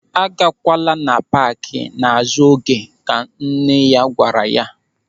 "A gakwala na paaki n'azụ oge", Ka nne ya gwara ya.